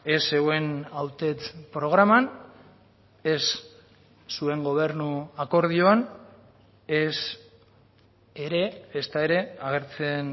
ez zeuen hautets programan ez zuen gobernu akordioan ez ere ezta ere agertzen